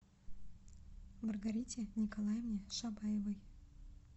маргарите николаевне шабаевой